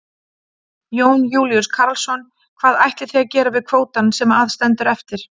Jón Júlíus Karlsson: Hvað ætlið þið að gera við kvótann sem að stendur eftir?